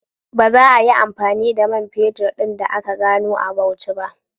Ba za ayi amfani da man fetur ɗin da aka gano a Bauchi ba